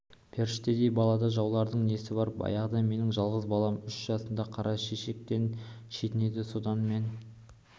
періштедей балада жаулардың несі бар баяғыда менің жалғыз балам үш жасында қара шешектен шетінеді содан мен